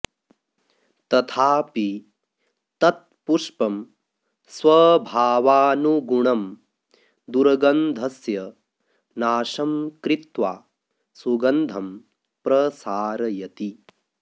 तथापि तत् पुष्पं स्वभावानुगुणं दुर्गन्धस्य नाशं कृत्वा सुगन्धं प्रसारयति